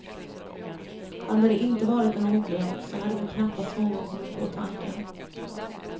Hade det inte varit en ordlek, så hade väl knappast någon kommit på tanken.